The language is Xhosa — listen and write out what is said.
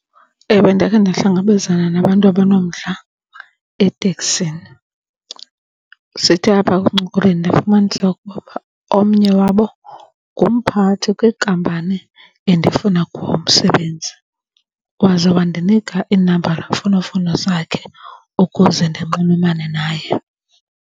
Ewe, ndake ndahlangabezana nabantu abanomdla eteksini. Sithe apha ekuncokoleni ndafumanisa ukuba omnye wabo ngumphathi kwinkampani endifuna kuwo umsebenzi. Waze wandinika iinambara zemfonomfono zakhe ukuze ndinxulumane naye.